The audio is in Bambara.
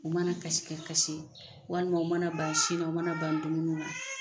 U mana kasi ka kasi walima u mana ba sin na u mana ban dumuni na